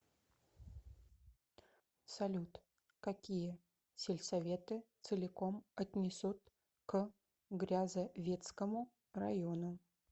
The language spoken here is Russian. салют какие сельсоветы целиком отнесут к грязовецкому району